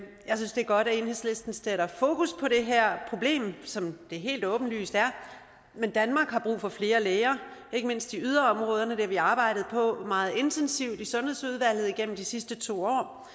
jeg synes det er godt at enhedslisten sætter fokus på det her problem som det helt åbenlyst er men danmark har brug for flere læger ikke mindst i yderområderne det har vi arbejdet på meget intensivt i sundhedsudvalget igennem de sidste to år